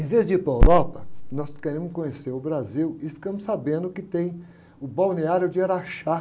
Em vez de ir para a Europa, nós queremos conhecer o Brasil e ficamos sabendo que tem o Balneário de Araxá.